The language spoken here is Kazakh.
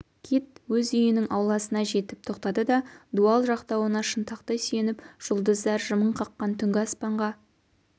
кит өз үйінің ауласына жетіп тоқтады да дуал жақтауына шынтақтай сүйеніп жұлдыздар жымың қаққан түнгі аспанға